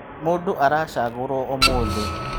Mũndũ aracagũrwo ũmũthĩ.